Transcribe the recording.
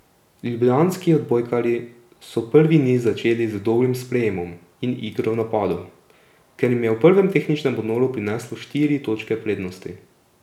Ljubljanski odbojkarji so prvi niz začeli z dobrim sprejemom in igro v napadu, ker jim je ob prvem tehničnem odmoru prineslo štiri točke prednosti.